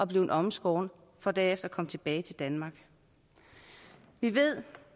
blevet omskåret for derefter at komme tilbage her til danmark vi ved